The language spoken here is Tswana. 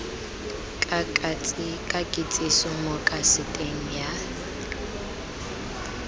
ka kitsiso mo kaseteng ya